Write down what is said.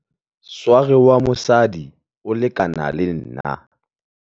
sware wa mosadi o lekana le nna